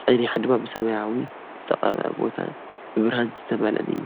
ጸኒሑ ድማ ብሰማያዊ ዝተቐብአ ቦታን ብብርሃን ዝተመልአን እዩ።